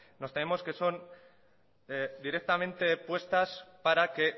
nos tememos que son directamente puestas para que